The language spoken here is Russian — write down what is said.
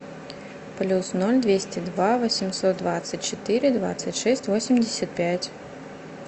плюс ноль двести два восемьсот двадцать четыре двадцать шесть восемьдесят пять